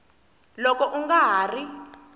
loko u nga ha ri